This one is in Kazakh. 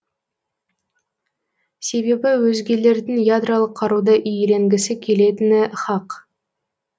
себебі өзгелердің ядролық қаруды иеленгісі келетіні хақ